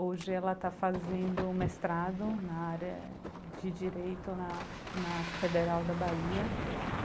Hoje ela está fazendo mestrado na área de direito na na Federal da Bahia.